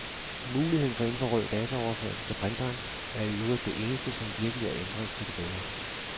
Muligheden for infrarød dataoverførsel til printeren er i øvrigt det eneste, som virkelig er ændret til det bedre.